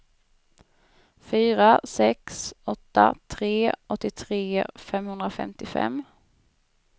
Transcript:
fyra sex åtta tre åttiotre femhundrafemtiofem